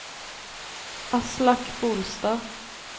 Aslak Bolstad